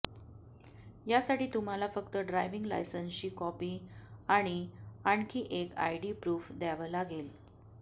यासाठी तुम्हाला फक्त ड्राइव्हिंग लायसन्सची कॉपी आणि आणखी एक आयडी प्रुफ द्यावं लागेल